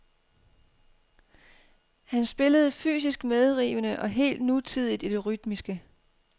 Han spillede fysisk medrivende og helt nutidigt i det rytmiske.